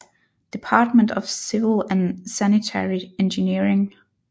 Department of Civil and Sanitary Engineering